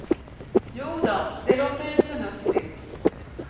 Jodå, det låter ju förnuftigt.